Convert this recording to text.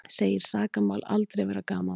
Segir sakamál aldrei vera gamanmál